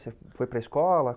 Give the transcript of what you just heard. Você foi para a escola?